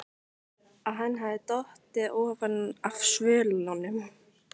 Að hann hefði dottið ofan af svölunum!